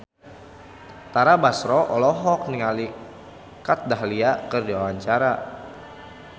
Tara Basro olohok ningali Kat Dahlia keur diwawancara